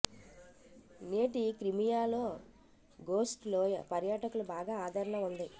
నేటి క్రిమియా లో ఘోస్ట్ లోయ పర్యాటకులు బాగా ఆదరణ ఉంది